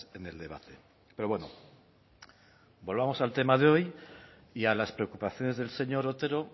en el debate pero bueno volvamos al tema de hoy y a las preocupaciones del señor otero